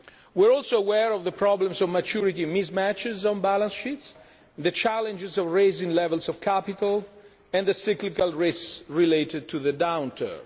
We are also aware of the problems of maturity mismatches on balance sheets, the challenges of raising levels of capital and the cyclical risks related to the downturn.